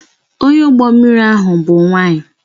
Onye ụgbọ mmiri ahụ bụ nwanyị